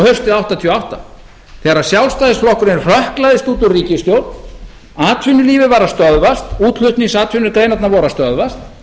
haustið nítján hundruð áttatíu og átta þegar sjálfstæðisflokkurinn hrökklaðist út úr ríkisstjórn atvinnulífið var að stöðvast útflutningsatvinnugreinarnar voru að stöðvast